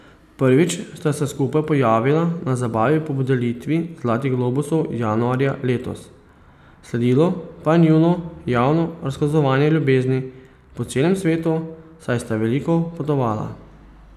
Prvič sta se skupaj pojavila na zabavi po podelitvi zlatih globusov januarja letos, sledilo pa je njuno javno razkazovanje ljubezni po celem svetu, saj sta veliko potovala.